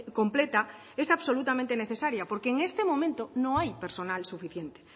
completa es absolutamente necesaria porque en este momento no hay personal suficiente